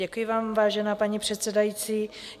Děkuji vám, vážená paní předsedající.